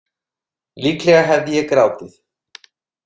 Líklega hefði ég grátið.